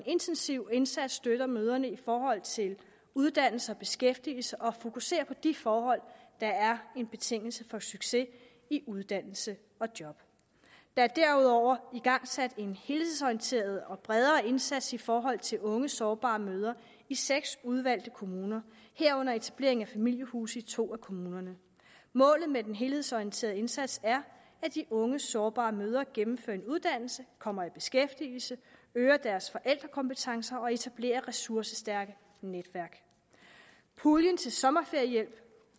intensiv indsats støtter mødrene i forhold til uddannelse og beskæftigelse og fokuserer på de forhold der er en betingelse for succes i uddannelse og job der er derudover igangsat en helhedsorienteret og bredere indsats i forhold til unge sårbare møde i seks udvalgte kommuner herunder etablering af familiehuse i to af kommunerne målet med den helhedsorienterede indsats er at de unge sårbare mødre gennemfører en uddannelse kommer i beskæftigelse øger deres forældrekompetencer og etablerer ressourcestærke netværk puljen til sommerferiehjælp